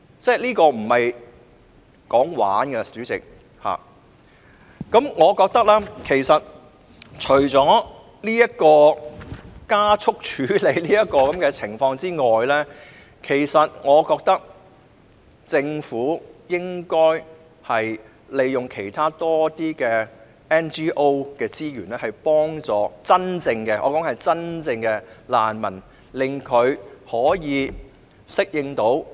主席，這不是鬧着玩的，除了加速處理這些個案外，我覺得政府應該利用其他 NGO 的資源幫助真正的難民，令他們可以適應短